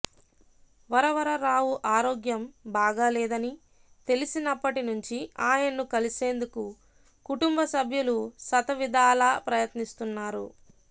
వరవరరావు ఆరోగ్యం బాగా లేదని తెలిసినప్పటి నుంచి ఆయన్ను కలిసేందుకు కుటుంబ సభ్యులు శతవిధాలా ప్రయత్నిస్తున్నారు